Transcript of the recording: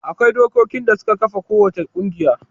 Akwai dokokin da suka kafa kowace ƙungiya.